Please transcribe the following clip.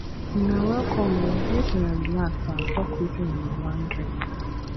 una welcome o make una relax and talk wetin una wan drink